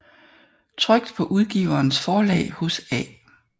Trykt paa Udgiverens Forlag hos A